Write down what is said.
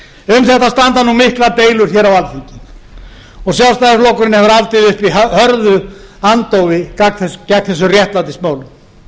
þetta standa nú miklar deilur hér á alþingi og sjálfstæðisflokkurinn hefur haldið uppi hörðu andófi gegn þessum réttlætismálum